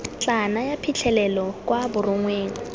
tla naya phitlhelelo kwa borongweng